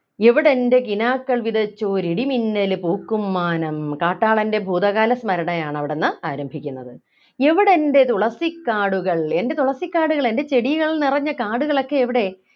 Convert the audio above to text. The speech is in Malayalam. എവിടെൻ്റെ കിനാക്കൾ വിതച്ചോരിടിമിന്നലു പൂക്കും മാനം കാട്ടാളൻ്റെ ഭൂതകാല സ്മരണയാണ് അവിടുന്ന് ആരംഭിക്കുന്നത് എവിടെൻ്റെ തുളസിക്കാടുകൾ എൻ്റെ തുളസിക്കാടുകൾ എൻ്റെ ചെടികൾ നിറഞ്ഞ കാടുകൾ ഒക്കെ എവിടെ